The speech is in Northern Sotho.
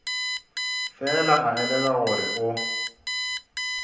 fela a elelwa gore o